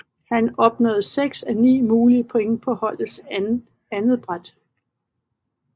Han opnåede 6 af 9 mulige point på holdets andetbræt